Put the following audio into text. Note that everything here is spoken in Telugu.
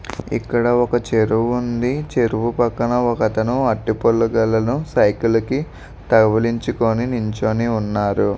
ఇక్కడ ఒక చెరువు ఉంది. చెరువు పక్కన ఒకథాని అరటి పళ్ల గెలను ఒకతను సైకిల్ కి తగిలించుకుని నించుని ఉన్నాడు.